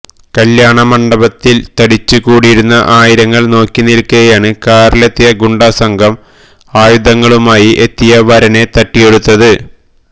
കല്യാണ മണ്ഡപത്തിൽ തടിച്ചു കൂടിയിരുന്ന ആയിരങ്ങൾ നോക്കി നിൽക്കെയാണ് കാറിലെത്തിയ ഗുണ്ടാ സംഘം ആയുധങ്ങളുമായി എത്തി വരനെ തട്ടിയെടുത്തത്